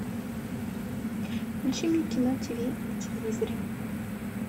включи мне кино тиви на телевизоре